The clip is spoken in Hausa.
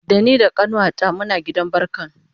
Da ni da kanuwata Muna gidan barkan